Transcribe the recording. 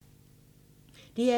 DR2